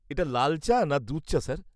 এটা লাল চা না দুধ চা, স্যার?